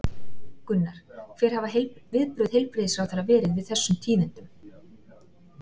Gunnar, hver hafa viðbrögð heilbrigðisráðherra verið við þessum tíðindum?